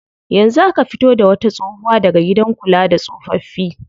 Yanzu aka fito da wata tsohuwa daga gidan kula da tsofaffi.